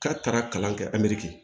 K'a taara kalan kɛ a meri kɛ